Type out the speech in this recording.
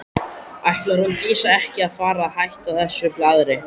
Ætlar hún Dísa ekki að fara að hætta þessu blaðri?